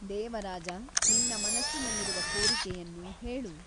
ದೇವರಾಜ ನಿನ್ನ ಮನಸ್ಸಿನಲ್ಲಿರುವ ಕೋರಿಕೆಯನ್ನು ಹೇಳು.